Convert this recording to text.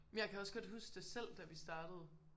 Jeg kan også godt huske det selv da vi startede